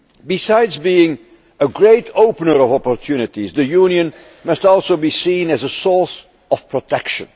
Besides being a great opener of opportunities', the Union must also be seen as a source of protection.